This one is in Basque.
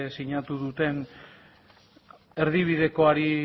sinatu duten erdibidekoari